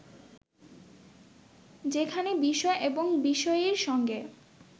যেখানে বিষয় এবং বিষয়ীর সঙ্গে